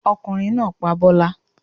Ọkùnrin náá pa bọ́lá